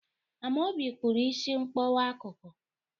Amaobi kpụrụ isi mkpọwa akụkụ.